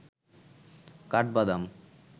কাঠবাদাম